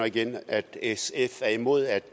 og igen at sf er imod at